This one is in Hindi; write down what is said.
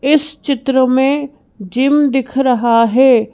इस चित्र में जिम दिख रहा है।